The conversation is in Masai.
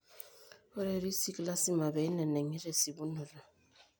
Ore risik lasima peineneng'i tesipunoto.